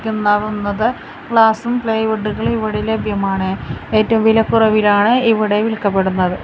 ഗ്ലാസ്സും പ്ലൈവുഡുകളും ഇവിടെ ലഭ്യമാണ് ഏറ്റവും വിലക്കുറവിലാണ് ഇവിടെ വിൽക്കപ്പെടുന്നത്.